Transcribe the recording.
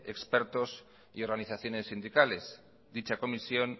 expertos y organizaciones sindicales dicha comisión